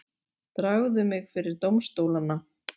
Dragðu mig fyrir dómstólana.